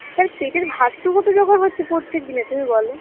তার পেটের ভাতটুকু তো জোগাড় করছে প্রত্যেক দিনের তুমি বলো